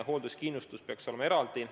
Hoolduskindlustus peaks olema eraldi.